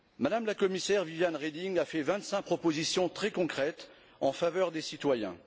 Mme la Commissaire Viviane Reding a fait vingt cinq propositions très concrètes en faveur des citoyens.